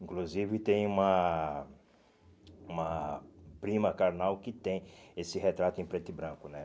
Inclusive tem uma uma prima carnal que tem esse retrato em preto e branco, né?